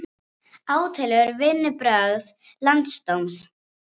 Sorpa svarar ekki enn erindum þar að lútandi!